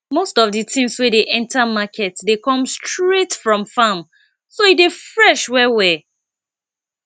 most of di things wey dey enter market dey come straight from farm so e dey fresh well well